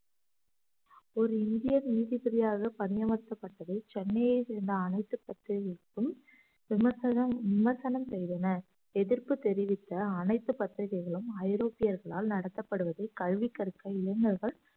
ஒரு இந்தியர் நீதிபதியாக பணி அமர்த்தப்பட்டது சென்னையை சேர்ந்த அனைத்து பத்திரிகைகளுக்கும் விமர்சனம் விமர்சனம் செய்தனர் எதிர்ப்பு தெரிவித்த அனைத்து பத்திரிகைகளும் ஐரோப்பியர்களால் நடத்தப்படுவது கல்வி கற்கும் இளைஞர்கள்